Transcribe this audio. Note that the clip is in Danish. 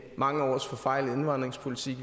mange års forfejlet indvandringspolitik